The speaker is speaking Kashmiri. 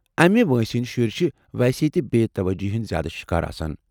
امہِ وٲنٛسہ ہندِ شُرۍ چھِ ویسے بے٘ توجُہی ہندۍ زیادٕ شکار آسان ۔